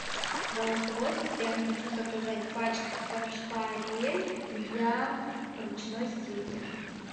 голосовой ассистент хочу заказать пачку порошка ариэль для ручной стирки